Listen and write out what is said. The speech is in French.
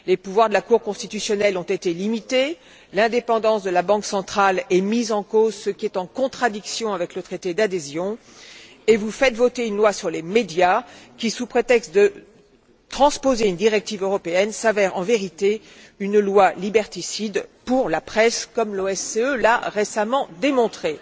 Les pouvoirs de la cour constitutionnelle ont été limités, l'indépendance de la banque centrale est mise en cause, ce qui est en contradiction avec le traité d'adhésion, et vous faites voter une loi sur les médias qui, sous prétexte de transposer une directive européenne, s'avère en vérité une loi liberticide pour la presse comme l'OSCE l'a récemment démontré.